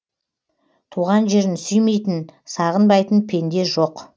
туған жерін сүймейтін сағынбайтын пенде жоқ